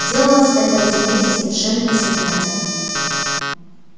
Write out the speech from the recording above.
делалось это разумеется совершенно бессознательно